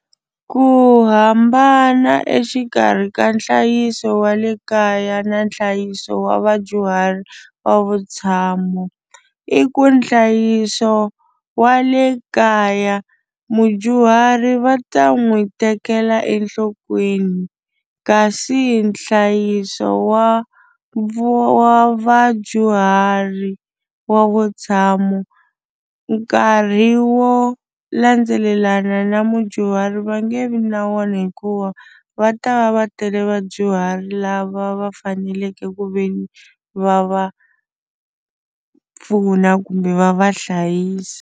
Ku hambana exikarhi ka nhlayiso wa le kaya na nhlayiso wa vadyuhari wa vutshamo i ku nhlayiso wa le kaya mudyuhari va ta n'wi tekela enhlokweni kasi nhlayiso wa vu wa vadyuhari wa vutshamo nkarhi wo landzelelana na mudyuhari va nge vi na wona hikuva va ta va va tele vadyuhari lava va faneleke ku ve ni va va pfuna kumbe va va hlayisi.